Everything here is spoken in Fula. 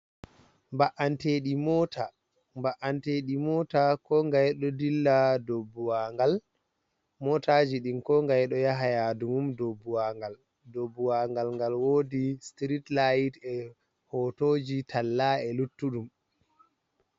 Mba’’anteeɗii mota, Mba'anteeɗi mota ko ngaye ɗon dilla ha dow buwanngal, motaji ɗin ko ngaye ɗo yaha yaadu mum dow on buwanngal, dow buwanngal ngal woodi sitirit layit e hotoji tallaji e luttuɗum.